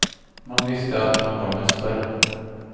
Man visste att man var mästare.